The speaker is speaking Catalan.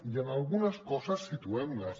i algunes coses situem les